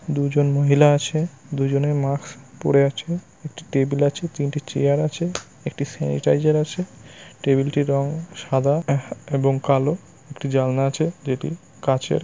দুজন মহিলা আছে দুজনেই মাস্ক পড়ে আছে। একটি টেবিল আছে তিনটি চেয়ার আছে । একটি সেনিটাইজার আছে টেবিল টির রং সাদা এব এবং কালো একটি জানলা আছে যেটি কাচের ।